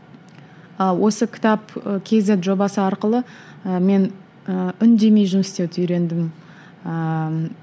ы осы кітап ы кейзет жобасы арқылы ы мен ы үндемей жұмыс істеуді үйрендім ыыы